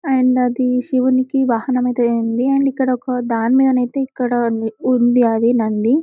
And అది శివునికి వాహనం అయితే ఉంది. అండ్ ఇక్కడ ఒక ధాని మీదనైతే ఇక్కడ ఉంది అది నంది.